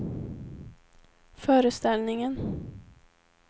föreställningen